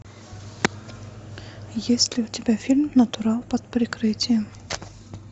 есть ли у тебя фильм натурал под прикрытием